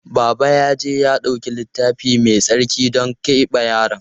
Baba ya je ya ɗauki Littafi Mai Tsarki don keɓe yaron.